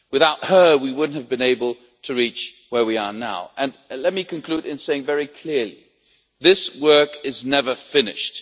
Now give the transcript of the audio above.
Without her, we would not have been able to reach where we are now. Let me conclude by saying very clearly that this work is never finished.